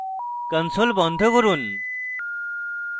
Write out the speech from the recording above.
console বন্ধ করুন